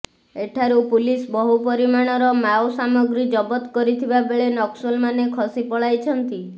ଏଠାରୁ ପୁଲିସ ବହୁ ପରିମାଣର ମାଓ ସାମଗ୍ରୀ ଜବତ କରିଥିବା ବେଳେ ନକ୍ସଲମାନେ ଖସି ପଳାଇଛନ୍ତି